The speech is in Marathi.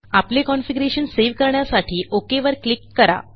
आपले कॉन्फिगरेशन सेव्ह करण्यासाठी ओक वर क्लिक करा